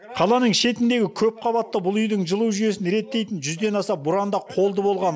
қаланың шетіндегі көпқабатты бұл үйдің жылу жүйесін реттейтін жүзден аса бұранда қолды болған